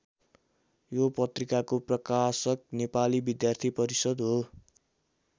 यो पत्रिकाको प्रकाशक नेपाली विद्यार्थी परिषद् हो।